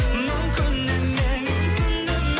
мүмкін емес